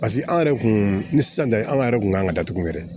Paseke an yɛrɛ kun ni sisan tɛ an yɛrɛ kun kan ka datugu yɛrɛ